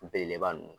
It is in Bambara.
Belebeleba ninnu